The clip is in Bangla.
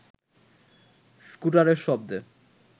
স্কুটারের শব্দে